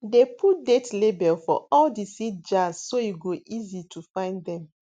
dey put date label for all di seed jars so e go easy to find dem